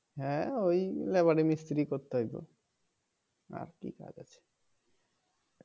হ্যাঁ ওই লেবারি মিস্তিরি করতে হইব আর কি কাজ আছে